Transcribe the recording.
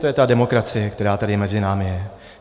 To je ta demokracie, která tady mezi námi je.